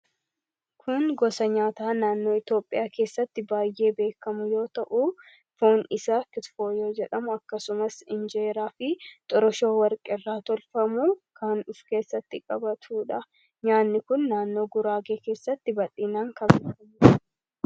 kun gosa nyaataa naannoo itoophiyaa keessatti baay'ee beekamu yoo ta'uu foon isa kitfoyoo jedhamu akkasumas injeeraa fi xoroshoo warqeirraa tolfamuu kanduf keessatti qabatudha nyaanni kun naannoo guraagee keessatti baxiinaan kabeekamu